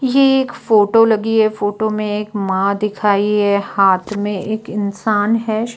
ये एक फोटो लगी है फोटो में एक मां दिखाई है हाथ में एक इंसान है।